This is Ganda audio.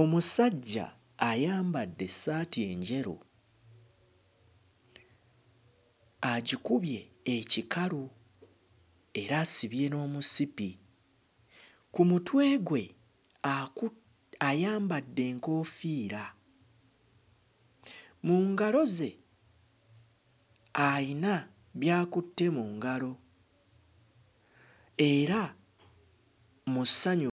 Omusajja ayambadde essaati enjeru agikubye ekikalu era asibye n'omusipi. Ku mutwe gwe aku ayambadde enkoofiira. Mu ngalo ze ayina by'akutte mu ngalo era mu ssanyu